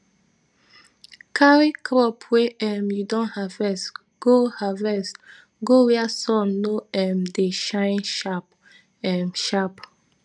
carry crop wey um you don harvest go harvest go where sun no um dey shine sharp um sharp